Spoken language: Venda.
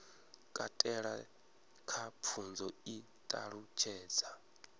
katela kha pfunzo i ṱalutshedza